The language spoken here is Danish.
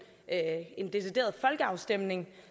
en decideret folkeafstemning